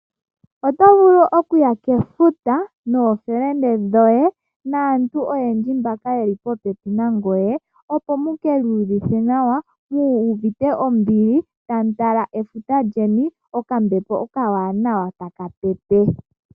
Oto vulu okuya kefuta nookahewa koye, naantu oyendji mboka yeli popepi nangoye, opo mukiiyuvithe nawa, muuvite ombili tamu tala efuta lyeni, okambepo okawanawa taka pepe.